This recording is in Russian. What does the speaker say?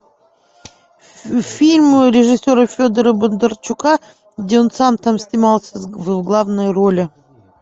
фильм режиссера федора бондарчука где он сам там снимался в главной роли